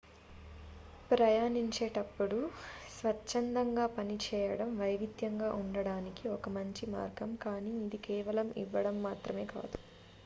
ప్రయాణించేటప్పుడు స్వచ్ఛందంగా పనిచేయడం వైవిధ్యంగా ఉండడానికి ఒక మంచి మార్గం కానీ ఇది కేవలం ఇవ్వడం మాత్రమే కాదు